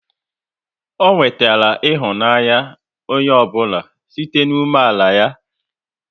Ọ nwetara ịhụnanya onye ọ bụla site n'umeala ya